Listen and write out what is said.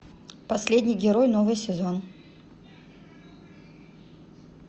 последний герой новый сезон